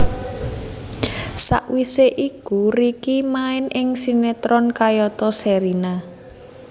Sawisé iku Ricky main ing sinetron kayata Sherina